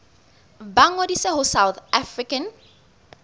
ba ngodise ho south african